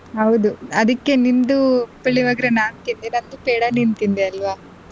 ಹೌದು ಅದಿಕ್ಕೆ ನಿಂದು ಪುಳಿಯೋಗರೆ ನಾನ್ ತಿಂದೆ ನಂದು ಪೇಡ ನೀನ್ ತಿಂದೆ ಅಲ್ವಾ.